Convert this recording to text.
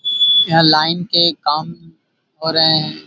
यहाँ लाइन के काम हो रहे है।